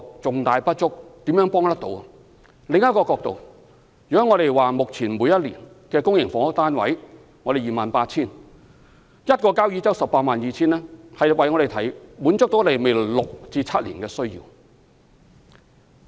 從另一個角度來看，我們目前每年供應的公營房屋是 28,000 個單位，交椅洲的 182,000 個單位可以滿足我們未來六七年的需要。